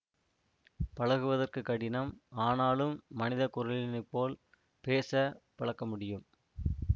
பழகுவதற்கு கடினம் ஆனாலும் மனித குரலினைப் போல் பேச பழக்கமுடியும்